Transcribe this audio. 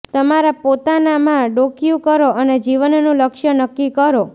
તમારા પોતાનામાં ડોકિયું કરો અને જીવવનું લક્ષ્ય નક્કી કરો